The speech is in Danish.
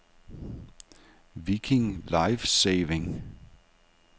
Viking Life-Saving